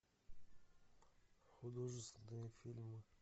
художественные фильмы